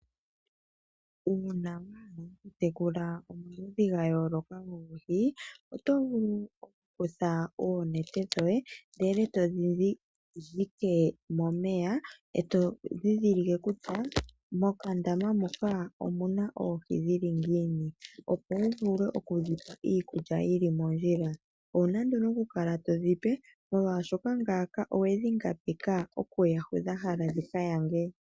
Uuna wahala oku tekula omaludhi gayooloka goohi, oto vulu oku kutha oonete dhoye ndele todhi dhike momeya eto dhidhilike kutya mokandama moka omuna oohi dhili ngiini opo wu vule okudhipa iikulya yili mondjila. owuna nduno oku kala to dhipe molwaashoka ngaaka owedhi ngambeka okuya hoka dha hala dhi kanyange.